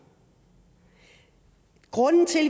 grunden til